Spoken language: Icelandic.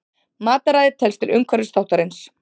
Mataræði telst til umhverfisþáttarins.